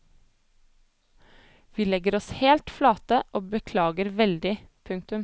Vi legger oss helt flate og beklager veldig. punktum